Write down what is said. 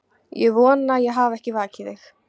Ég vona ég hafi ekki vakið þig.